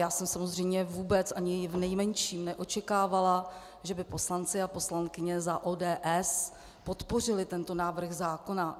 Já jsem samozřejmě vůbec, ani v nejmenším neočekávala, že by poslanci a poslankyně za ODS podpořili tento návrh zákona.